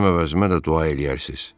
Mənim əvəzimə də dua eləyərsiz.